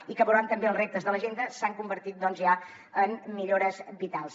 i que veuran també que els reptes de l’agenda s’han convertit ja en millores vitals